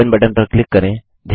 open button पर click करें